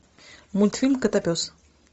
мультфильм котопес